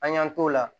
An y'an t'o la